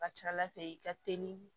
Ka ca ala fɛ i ka teli